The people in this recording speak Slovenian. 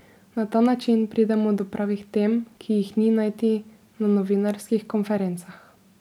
Na ta način pridemo do pravih tem, ki jih ni najti na novinarskih konferencah.